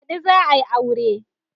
Baɗi za a yi aure